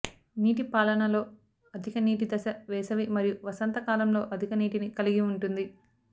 నీటి పాలనలో అధిక నీటి దశ వేసవి మరియు వసంతకాలంలో అధిక నీటిని కలిగి ఉంటుంది